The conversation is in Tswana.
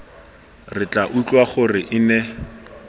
re tla utlwa gore ene